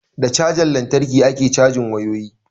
Da cajan lantarki ake cajin wayoyi